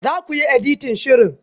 Za ku yi editan shirin?